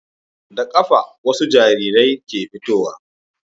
Da kafa wasu jariri ke fitowa